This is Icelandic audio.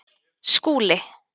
Skúli